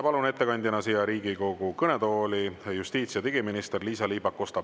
Palun ettekandjana siia Riigikogu kõnetooli justiitsminister Liisa-Ly Pakosta.